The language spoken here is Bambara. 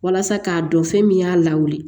Walasa k'a dɔn fɛn min y'a lawuli